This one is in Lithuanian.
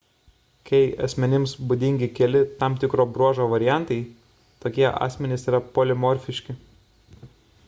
kai asmenims būdingi keli tam tikro bruožo variantai tokie asmenys yra polimorfiški